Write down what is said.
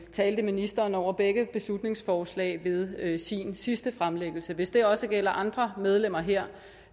talte ministeren over begge beslutningsforslag ved ved sin sidste fremlæggelse hvis det også gælder andre medlemmer her